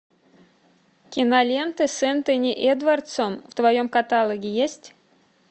киноленты с энтони эдвардсом в твоем каталоге есть